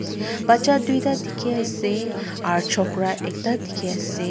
bacha tuita dikhi ase aro chokra ekta dikhiase.